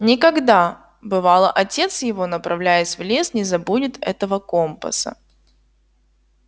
никогда бывало отец его направляясь в лес не забудет этого компаса